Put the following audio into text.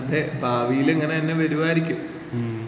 അതെ ഭാവിയിലങ്ങനെതന്നെ വരുവായിരിക്കും.